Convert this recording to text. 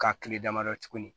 Ka kile damadɔ tuguni